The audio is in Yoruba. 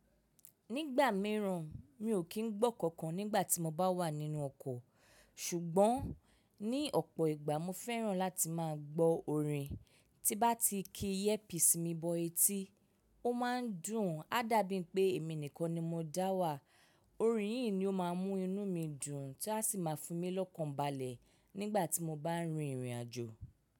Nígbà mìíràn mi ò kí ń gbọ́ nkankan nígbà tí mo bá wà nínú ọkọ̀. Ṣùgbọ́n ní ọ̀pọ̀ ìgbà mo fẹ́ràn láti máa gbọ́ orin. Tí bá ti ki earpiece mi bọ etí, ó máa ń dùn. A dàbí pé èmi nìkan ni mo dá wà. Orin yi ni o má mú inú mí dùn ta sì má fi mí lọkàn balẹ nígbà tí mo baà n rìn ìrin ajo.